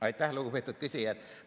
Aitäh, lugupeetud küsija!